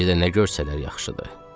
Bir də nə görsələr yaxşıdır.